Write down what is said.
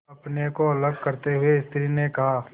अपने को अलग करते हुए स्त्री ने कहा